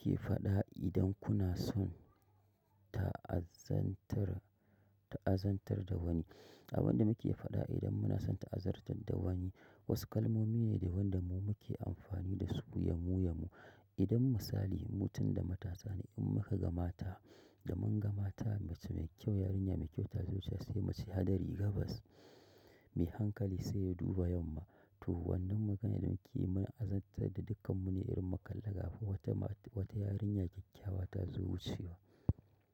Mu ke faɗa idan kuna son ta'azantar, ta'azantar da wani. Abin da muke faɗa idan muna son ta'azartar da wani, wasu kalmomi ne da wanda mu muke amfani da su yamu yamu. Idan misali mutum da matarsa ne in muka ga mata, da mun ga mata mace mai kyau yarinya mai kyau ta zo saya sai muce hadari gabas mai hankali sai ya duba yamma. To wannan magana idan muke azantar da dukkanmu ne irin mu kalla ga fa wata ma wata yarinya kyakkyawa ta zo wucewa.